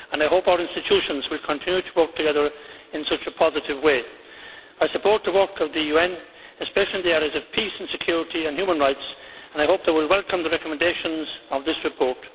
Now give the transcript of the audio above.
I hope our institutions will continue to work together in such a positive way. I support the work of the UN, especially in the areas of peace and security and human rights, and I hope they will welcome the recommendations of this report.